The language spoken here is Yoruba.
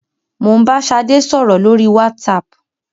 Mo ń bá Ṣadé sọ̀rọ̀ lórí WhatsApp.